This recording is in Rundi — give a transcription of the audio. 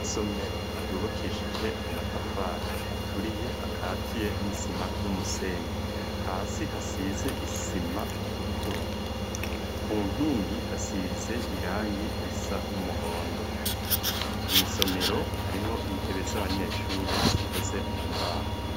Isomero ryubakishije amatafari aturiye, akatiye n'isima n'umusenyi, hasi hasize isima itukura, ku nkingi hasize irangi risa n'umuhondo, mw'isomero harimwo intebe z'abanyeshure zikoze mu mbaho.